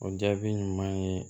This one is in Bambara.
O jaabi ɲuman ye